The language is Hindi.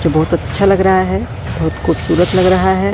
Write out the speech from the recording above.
जो बहुत अच्छा लग रहा है बहुत खूबसूरत लग रहा है।